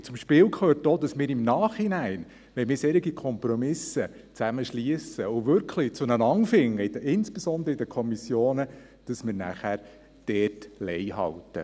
Und zum Spiel gehört auch, dass wenn wir zusammen solche Kompromisse schliessen und wirklich zueinander finden, insbesondere in den Kommissionen, wir im Nachhinein dort Lei halten.